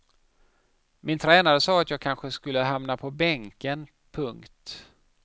Min tränare sa att jag kanske skulle hamna på bänken. punkt